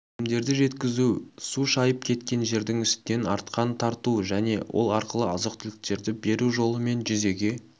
өнімдерді жеткізу су шайып кеткен жердің үстінен арқан тарту және ол арқылы азық-түліктерді беру жолымен жүзеге